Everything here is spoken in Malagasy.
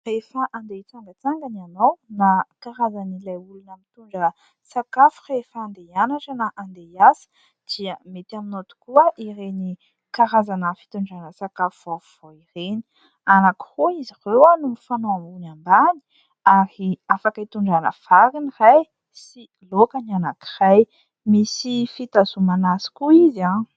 Rehefa andeha hitsangatsangana ianao na karazan'ilay olona mitondra sakafo rehefa andeha hianatra na andeha hiasa dia mety aminao tokoa ireny karazana fitondrana sakafo vaovao ireny. Anankiroa izy ireo no mifanao ambony ambany ary afaka itondrana vary ny iray sy laoka ny anankiray. Misy fitazomana azy koa izy an !